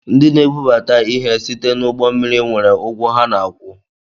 Ndị na-ebubata ihe site na ụgbọ mmiri nwere ụgwọ ha na-akwụ